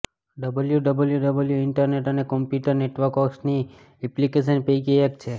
WWW internet અને computer નેટવર્ક્સની ઘણી એપ્લીકેશન પૈકી એક છે